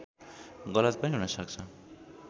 गलत पनि हुन सक्छ